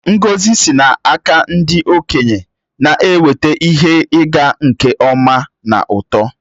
Ngọzi sị n’aka ndị okenye na-eweta ihe ịga nke ọma na uto.